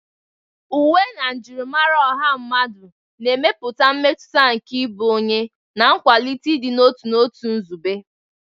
Uwe na njirimara ọha mmadụ na-emepụta mmetụta nke ịbụ onye, na-akwalite ịdị n'otu na otu nzube.